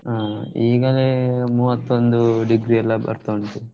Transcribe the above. ಹಾ ಈಗಲೇ ಮೂವತ್ತೊಂದು degree ಎಲ್ಲಾ ಬರ್ತಾ ಉಂಟು.